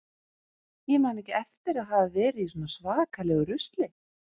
Ég man ekki eftir að hafa verið í svona svakalegu rusli.